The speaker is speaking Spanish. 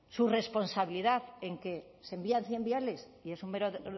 su responsabilidad en que se envían cien viales y es un mero